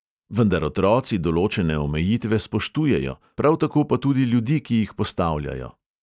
Vendar otroci določene omejitve spoštujejo, prav tako pa tudi ljudi, ki jih postavljajo.